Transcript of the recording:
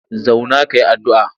Zauna ka yi addu'a!